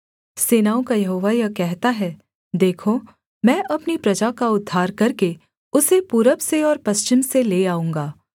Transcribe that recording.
सेनाओं का यहोवा यह कहता है देखो मैं अपनी प्रजा का उद्धार करके उसे पूरब से और पश्चिम से ले आऊँगा